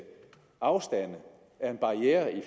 afstand er en barriere i